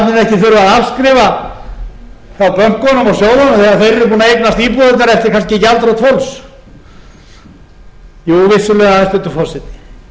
þegar þeir eru búnir að eignast íbúðirnar eftir kannski gjaldþrot fólks jú vissulega hæstvirtur forseti